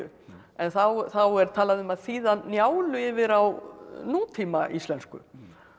en þá er talað um að þýða Njálu yfir á nútíma íslensku og